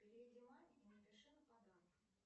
переведи маме и напиши на подарок